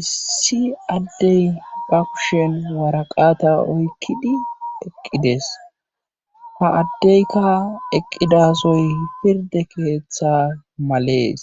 issi adey ba kushen waraqata oykkidi eqqides ha adeyka eqqida soy pirdde keetha males